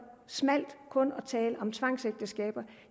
snævert kun at tale om tvangsægteskaber